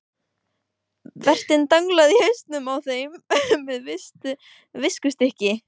Vertinn danglaði í hausinn á þeim með viskustykkinu.